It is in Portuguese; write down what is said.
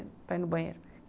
para ir no banheiro.